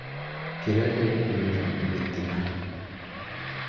kĩrĩa gĩkumĩra nĩ gĩtina